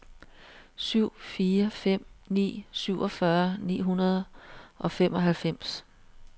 syv fire fem ni syvogfyrre ni hundrede og femoghalvfems